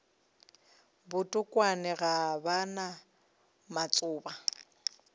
botokwane ga ba na matšoba